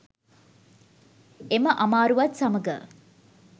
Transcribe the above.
එම අමාරුවත් සමග